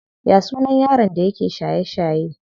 Ya sunan yaron da yake shaye shaye?